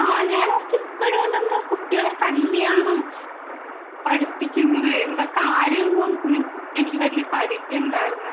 ആഹ് ഇപ്പോഴും എന്താ കുട്ടികളെ തല്ലിയാണോ പഠിപ്പിക്കുന്നത്. എന്താ എന്നു എനിക്ക് വല്യ പരിചയം ഉണ്ടായിരുന്നില്ല